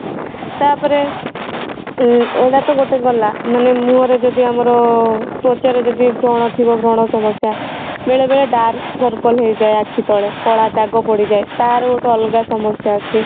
ତାପରେ ଉଁ ଏଇଟା ତା ଗୋଟେ ଗଲା ମାନେ ମୁହଁ ରେ ଯଦି ଆମର ତ୍ୱଚା ରେ ଯଦି ବ୍ରଣ ଥିବା ବ୍ରଣ ସମସ୍ୟା ବେଳେବେଳେ dark circle ହେଇଯାଏ ଆଖି ତଳେ କଳା ଦାଗ ପଡ଼ିଯାଏ ତା ର ଗୋଟେ ଅଲଗା ସମସ୍ୟା ଅଛି